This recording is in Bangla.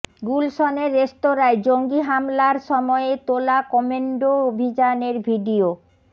গুলশনের রেস্তরাঁয় জঙ্গি হামলার সময়ে তোলা কম্যান্ডো অভিযানের ভিডিও